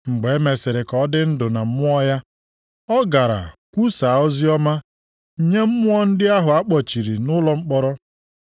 Mgbe emesịrị ka ọ dị ndụ na mmụọ ya, ọ gara kwusaa oziọma nye mmụọ ndị ahụ a kpọchiri nʼụlọ mkpọrọ.